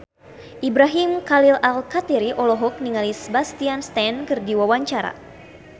Ibrahim Khalil Alkatiri olohok ningali Sebastian Stan keur diwawancara